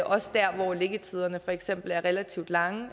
også der hvor liggetiderne for eksempel er relativt lange